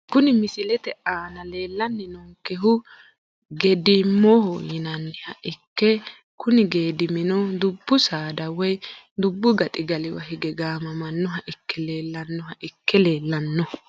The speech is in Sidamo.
Kuni misilete aana leelani noonkehu geedimoho yinaniha ikke kuni geedimino dubbu saada woyi dubbu gaxigaliwa hige gaamamanoha ikke leelanoha ikke leelano.